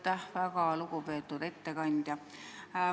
Aitäh, väga lugupeetud ettekandja!